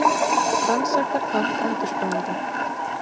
Rannsakar þátt endurskoðenda